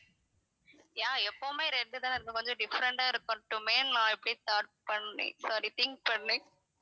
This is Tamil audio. ஏன் எப்பவுமே red தான் இருக்கணும் கொஞ்சம் different ஆ இருக்கட்டுமேன்னு நான் இப்படி thought பண்றேன் sorry think பண்ணேன்